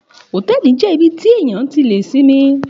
Òtẹlí jẹ ibiti tẹ yàn tí lè simi